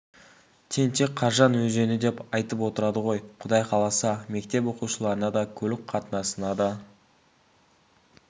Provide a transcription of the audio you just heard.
тентек қаржан өзені деп айтып отырады ғой құдай қаласа мектеп оқушыларына да көлік қатынасына да